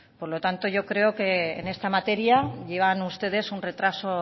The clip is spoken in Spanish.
por lo tanto yo creo que en esta materia llevan ustedes un retraso